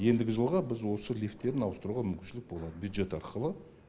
ендігі жылға біз осы лифттерін ауыстыруға мүмкіншілік болады бюджет арқылы